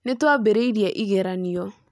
Nĩ twambĩrĩirie ĩgeranio